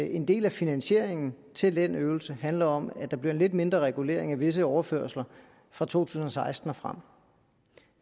en del af finansieringen til den øvelse handler om at der bliver en lidt mindre regulering af visse overførsler fra to tusind og seksten og frem